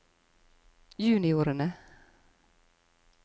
juniorene